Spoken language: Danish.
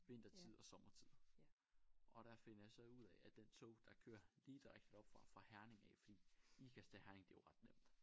Vintertid og sommertid og der finder jeg så ud af at det tog der kører lige direkte derop fra fra Herning af fordi Ikast til Herning det jo ret nemt